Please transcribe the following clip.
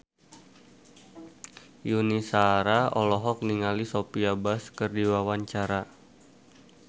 Yuni Shara olohok ningali Sophia Bush keur diwawancara